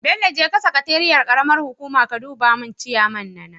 Bello jeka sakateeiyar karamar hukuma ka duba mun ciyaman na nan?